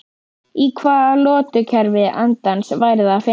Í hvaða lotukerfi andans væri það að finna?